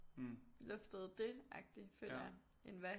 Luftet det agtigt føler jeg end hvad